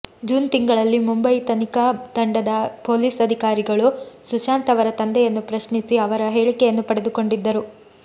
June ತಿಂಗಳಿನಲ್ಲಿ ಮುಂಬಯಿ ತನಿಖಾ ತಂಡದ ಪೊಲೀಸ್ ಅಧಿಕಾರಿಗಳು ಸುಶಾಂತ್ ಅವರ ತಂದೆಯನ್ನು ಪ್ರಶ್ನಿಸಿ ಅವರ ಹೇಳಿಕೆಯನ್ನು ಪಡೆದುಕೊಂಡಿದ್ದರು